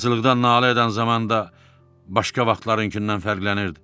Acılıqdan nalə edən zamanda başqa vaxtlarınkından fərqlənirdi.